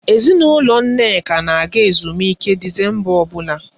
Ezinụlọ Nneka na-aga ezumike Disemba ọbụla.